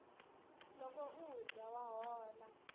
loko u dya wa hola